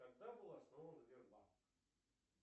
когда был основан сбербанк